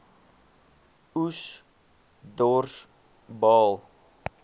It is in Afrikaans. oes dors baal